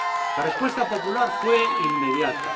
La respuesta popular fue inmediata.